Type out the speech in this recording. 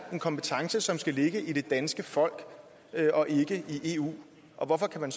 en kompetence som skal ligge hos det danske folk og ikke i eu og hvorfor kan man